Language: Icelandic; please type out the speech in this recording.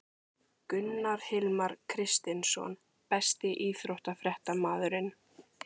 Gunnar Hilmar Kristinsson Besti íþróttafréttamaðurinn?